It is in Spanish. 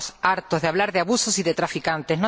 Estamos hartos de hablar de abusos y de traficantes.